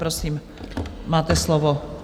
Prosím, máte slovo.